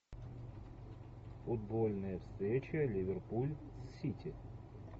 футбольная встреча ливерпуль с сити